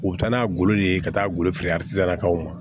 U bɛ taa n'a golo ye ka taa golo feere na o ma